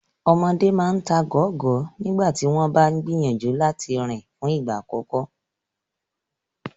Ọmọdé máa ta gọ̀gọ́gọ̀gọ́ tí wọ́n bá ń gìyànjú láti rìn fún ìgbà àkọ́kọ́.